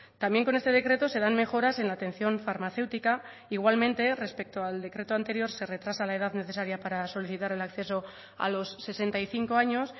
también con este decreto se dan mejoras en la atención farmacéutica igualmente respecto al decreto anterior se retrasa la edad necesaria para solicitar el acceso a los sesenta y cinco años